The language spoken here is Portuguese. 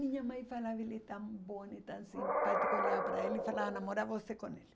Minha mãe falava que ele era tão bonito, tão simpático, olhava para ele e falava, namora você com ele.